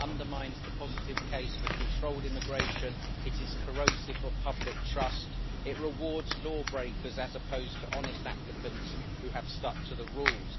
It undermines the positive case for controlled immigration, it is corrosive of public trust and it rewards law breakers, as opposed to honest applicants who have stuck to the rules.